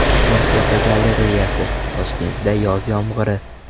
Kun fotogalereyasi: Toshkentda yoz yomg‘iri.